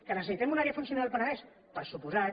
que necessitem una àrea funcional al penedès per descomptat